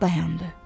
Dayandı.